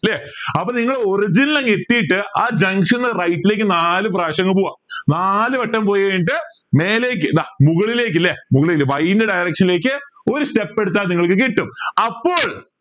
ല്ലേ അപ്പോ നിങ്ങൾ origin ൽ അങ്ങ് എത്തിയിട്ട് ആ junction ന്ന് right ലേക്ക് നാല് പ്രാവശ്യം അങ്ങ് പോവാ നാലുവട്ടം പോയി കഴിഞ്ഞിട്ട് മേലേക്ക് ഇതാ മുകളിലേക്ക് ല്ലേ മുകളിലെ Y ന്റെ direction ലേക്ക് ഒരു step എടുത്താ നിങ്ങൾക്ക് കിട്ടും അപ്പോൾ